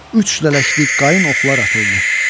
Üç lələkli qayın oxlar atıldı.